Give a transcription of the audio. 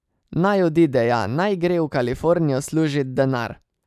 Naj odide, ja, naj gre v Kalifornijo služit denar.